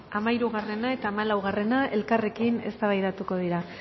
hamahirugarren eta hamalaugarren puntuak elkarrekin eztabaidatuko dira